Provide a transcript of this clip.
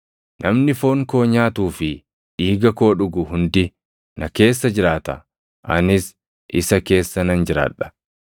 Namni foon koo nyaatuu fi dhiiga koo dhugu hundi na keessa jiraata; anis isa keessa nan jiraadha.